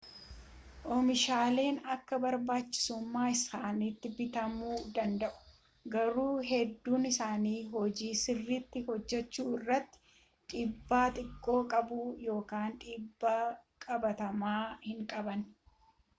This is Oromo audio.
oomishaaleen akka barbaachisummaa isaaniitti bitamuu danada'u garuu hedduun isaanii hojii sirriitti hojjechuu irratti dhiibbaa xiqqoo qabu ykn dhiibbaa qabatamaa hinqaban